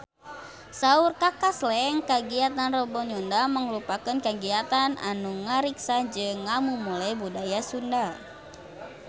Saur Kaka Slank kagiatan Rebo Nyunda mangrupikeun kagiatan anu ngariksa jeung ngamumule budaya Sunda